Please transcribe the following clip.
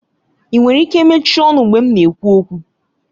Ị nwere ike mechie ọnụ mgbe m na-ekwu okwu?